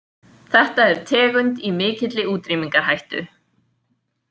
Þetta er tegund í mikilli útrýmingarhættu.